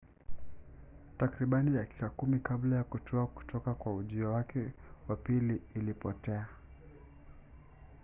takribani dakika kumi kabla ya kutua kutoka kwa ujio wake wa pili ilipotea